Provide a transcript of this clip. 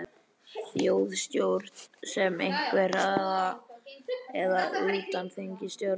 Þjóðstjórn með einhver, eða, eða utanþingsstjórn eða?